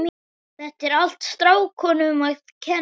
Þetta er allt strákunum að kenna.